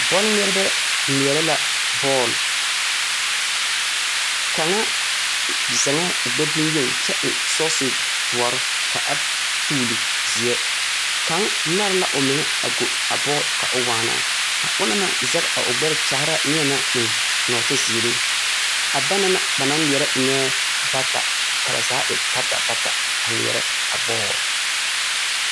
Bɔlŋmeɛrebɛ ŋmeɛrɛ la bɔɔl. kaŋa zɛŋɛɛ o gbɛ boŋyeni kyɛ eŋsɔɔse doɔre ka a tuuli zeɛ. Kaŋa nare la omeŋɛ a go a bɔɔl ka o waana. A ona naŋ zɛge o gbɛre kyaare la neɛ naŋ eŋ nɔɔte zeere. A bana na ba naŋŋmeɛrɛ enɛɛ bata ka ba zaa e bata bata aŋmeɛrɛa bɔɔl.